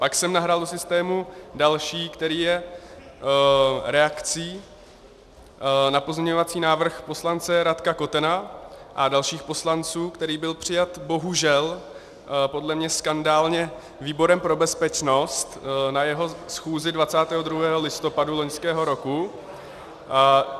Pak jsem nahrál do systému další, který je reakcí na pozměňovací návrh poslance Radka Kotena a dalších poslanců, který byl přijat, bohužel podle mě skandálně, výborem pro bezpečnost na jeho schůzi 22. listopadu loňského roku.